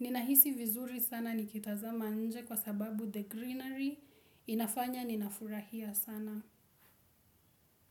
Ninahisi vizuri sana nikitazama nje kwa sababu the greenery inafanya ninafurahia sana.